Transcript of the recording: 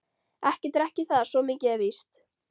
Ekki drekk ég það, svo mikið er víst.